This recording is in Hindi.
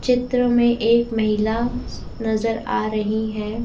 चित्र में एक महिला नजर आ रही हैं।